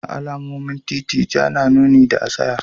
A alamomin titi Ja na nuni da tsayawa.